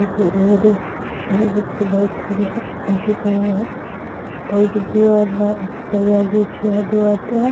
आथे रोड ए वहीद एक थी बाइक खड़ी है अंगूठी पहंले है अऊ एडे दो वाला सायालीस या दो आधायाए--